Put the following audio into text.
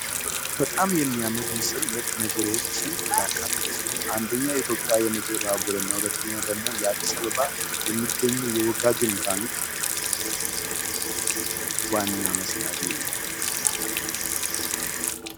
በጣም የሚያምር ምስል 2 ነገሮችን ያካተተ ሲሆን አንደኛው የኢትዮጵያ የምድር ባቡርና ሁለተኛው ደግሞ አዲስ አበባ የሚገኘው የወጋገን ንግድ ባንክ ዋና መስሪያ ቤት ነው።